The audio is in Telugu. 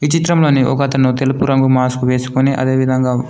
ఈ చిత్రంలోని ఒకతను తెలుపు రంగు మాస్క్ వేసుకొని అదే విధంగా--